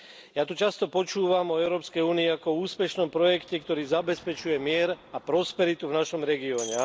Ja tu často počúvam o Európskej únii ako o úspešnom projekte, ktorý zabezpečuje mier a prosperitu v našom regióne.